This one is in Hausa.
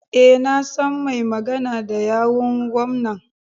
E, na san mai magana da yawun gwamnan.